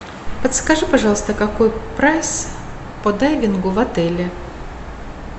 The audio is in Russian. подскажи пожалуйста какой прайс по дайвингу в отеле